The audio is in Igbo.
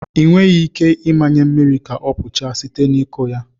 Ị nweghị ike ịmanye mmiri ka ọ kpochapụ site na ịkụ ya.